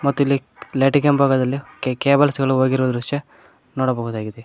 ಮತ್ತು ಇಲ್ಲಿ ಲೈಟಿಂಗ್ ಕೆಂಬದಲ್ಲಿ ಕೆ ಕೇಬಲ್ಸ್ ಗಳು ಹೋಗಿರುವ ದೃಶ್ಯ ನೋಡಬಹುದಾಗಿದೆ.